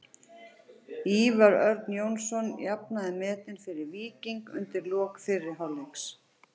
Ívar Örn Jónsson jafnaði metin fyrir Víking undir lok fyrri hálfleiks.